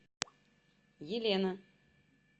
елена